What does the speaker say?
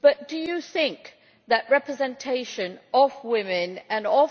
But do you not think that the representation of women and of